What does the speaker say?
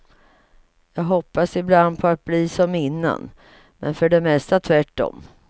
Jag hoppas ibland på att bli som innan, men för det mesta tvärtom.